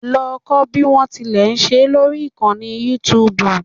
Lọ kọ́ bí o tilẹ̀ ṣe é lórí ìkànnì youtube